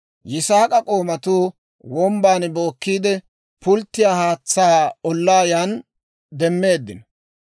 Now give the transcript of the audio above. Yisaak'a k'oomatuu wombban bookkiide, pulttiyaa haatsaa ollaa yan demmeeddino.